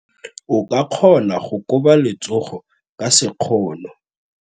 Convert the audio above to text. O ka kgona go koba letsogo ka sekgono.